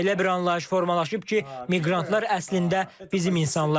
Belə bir anlayış formalaşıb ki, miqrantlar əslində bizim insanlardır.